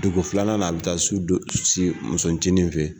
Dugu filanan na a bɛ taa su dɔ si muso cinin fɛ ye.